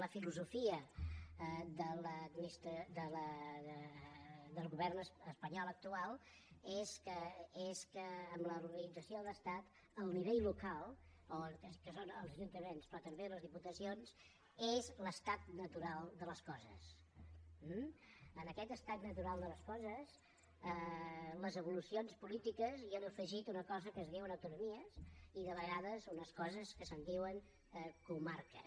la filosofia del govern espanyol actual és que en l’organització de l’estat el nivell local que són els ajuntaments però també les diputacions és l’estat natural de les coses eh en aquest estat natural de les coses les evolucions polítiques hi han afegit una cosa que es diu autonomies i de vegades unes coses que se’n diuen comarques